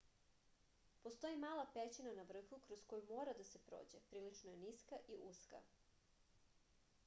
postoji mala pećina na vrhu kroz koju mora da se prođe prilično je niska i uska